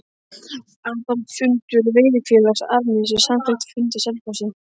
Aðalfundur Veiðifélags Árnessýslu samþykkti á fundi á Selfossi